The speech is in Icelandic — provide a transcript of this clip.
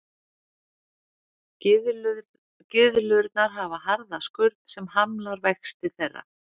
Gyðlurnar hafa harða skurn sem hamlar vexti þeirra.